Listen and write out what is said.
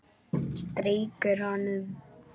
Strýkur honum.